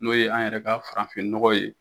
N'o ye an yɛrɛ ka farafinɔgɔ ye.